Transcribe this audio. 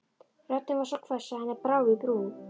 Röddin var svo hvöss að henni brá í brún.